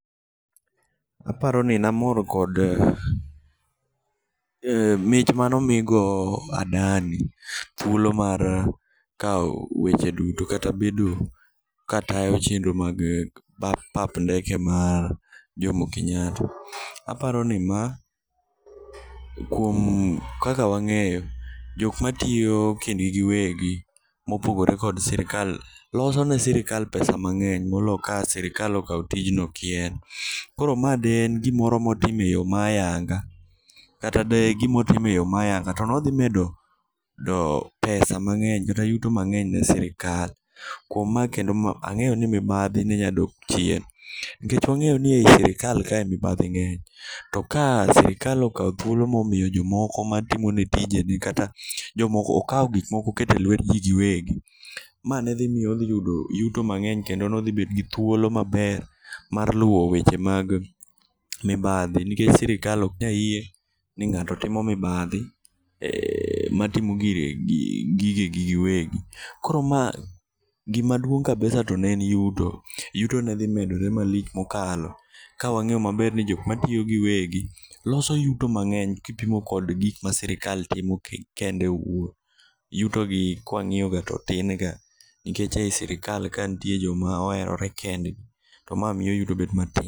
Aparoni namor kod mich manomigo Adani thuolo mar kao weche duto kata bedo katayo chenro mag pap ndeke mar Jomo Kenyatta. Aparoni maa kuom kaka wang'eyo jokmatiyo kindgi giwegi mopogore kod sirkal, losone sirkal pesa mang'eny moloo ka sirkal okao tijno kien. Koro maa de en gimoro motime yoo mayanga kata de en gimotime yoo mayanga tonodhimedo pesa mang'eny kata yuto mang'eny ne sirkal kuom maa kendo maa ang'eyoni mibadhi nenyadok chien. Nikech wang'eni ei sirkal ka mibadhi ng'enye to ka sirkal okao thuolo momiyo jomoko matimone tijegi kata okao gikmoko okete luetji giwegi. Ma nedhimiyo oyudo yuto mang'eny kendo nodhibet gi thuolo mang'eny mar luo weche mag mibadhi nikech sirkal oknyayie ning'ato timo mibadhi matimo gigegi giwegi. Koro maa gima duong' kabisa en yuto. Yuto nedhimedore malich mokalo kawang'eyo maber ni jokmatiyo giwegi loso yuto mang'eny kipimo kod gikma sirkal timo kende owuon, yutogi kwang'iyoga to tinga nikech ei sirkal ka nitie joma oerore kendgi to maa miyo yuto bet matin.